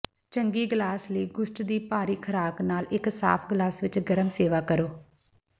ਚੰਗੀ ਗਲਾਸ ਲਈ ਗੁਸਟ ਦੀ ਭਾਰੀ ਖੁਰਾਕ ਨਾਲ ਇੱਕ ਸਾਫ ਗਲਾਸ ਵਿੱਚ ਗਰਮ ਸੇਵਾ ਕਰੋ